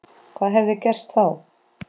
Hvað hefði gerst þá?